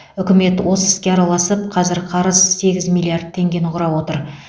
үкімет осы іске араласып қазір қарыз сегіз миллиард теңгені құрап отыр